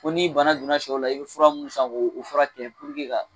Ko ni bana donna sɛw la i be fura mu san k'o fura kɛ puruke k'a